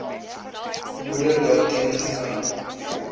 moeder daarteen gekant